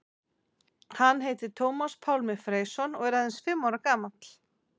Hann heitir Tómas Pálmi Freysson og er aðeins fimm ára gamall.